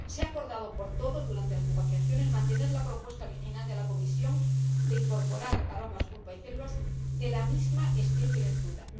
Se ha acordado por todos, durante las negociaciones, mantener la propuesta original de la Comisión de incorporar aromas, pulpa y células de la misma especie de fruta.